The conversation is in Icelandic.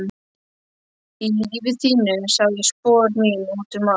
Í lífi þínu sá ég spor mín út um allt.